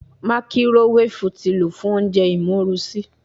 Makirowefu ti lo fun ounjẹ imorusi